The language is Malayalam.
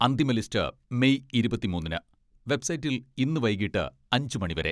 അന്തിമ ലിസ്റ്റ് മെയ് ഇരുപത്തിമൂന്നിന് വെബ്സൈറ്റിൽ ഇന്ന് വൈകിട്ട് അഞ്ചു മണി വരെ